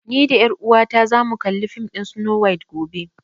Ni da ƴar uwata za mu kalli fim ɗin Snow White gobe